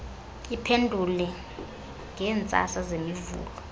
iphendulwe ngeentsasa zemivulo